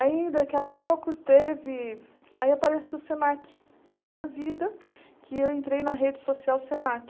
Aí daqui a pouco teve, aí aparece o Senac na minha vida, que eu entrei na rede social Senac.